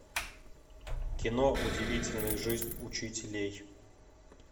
кино удивительная жизнь учителей